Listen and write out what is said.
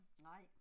Nej